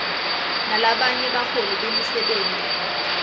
nalabanye baholi bemisebenti